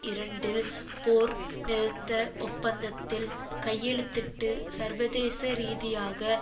இரண்டில் போர் நிறுத்த ஒப்பந்தத்தில் கையெழுத்திட்டு சர்வதேச ரீதியாக